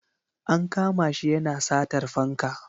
An kama shi yana satar fanka.